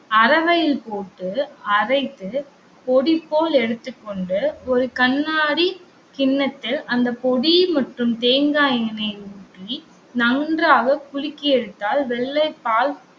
அரவையில் போட்டு அரைத்து பொடி போல் எடுத்துக்கொண்டு ஒரு கண்ணாடி கிண்ணத்தில் அந்த பொடி மற்றும் தேங்காய் எண்ணெயை ஊற்றி நன்றாக குலுக்கி எடுத்தால், வெள்ளை பால்